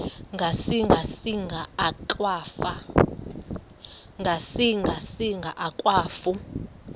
ngasinga singa akwafu